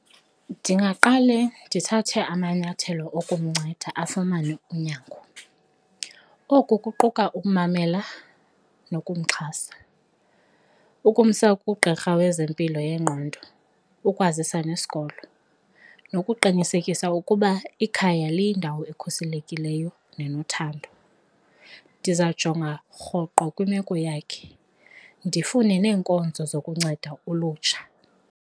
Ndingaqale ndithathe amanyathelo okumnceda afumane unyango, oku kuquka ukumamela nokumxhasa, ukumsa kugqirha wezempilo yengqondo, ukwazisa nesikolo nokuqinisekisa ukuba ikhaya liyindawo ekhuselekileyo nenothando. Ndizawujonga rhoqo kwimeko yakhe, ndifune neenkonzo zokunceda ulutsha.